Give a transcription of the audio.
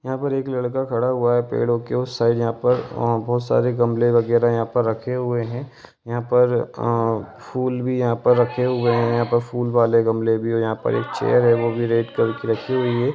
यहां पर एक लड़का खड़ा हुआ है पेड़ों के उस साइड यहां पर बोहोत सारे गमले वगेरा यहां पर रखे हुए हैं यहां पर अ फूल भी यहां पर रखे हुए है यहां पर एक चेयर वो भी रेड कलर की रखी हुई है।